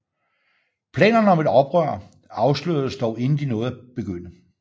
Planerne om et oprør afsløredes dog inden de nåede at begynde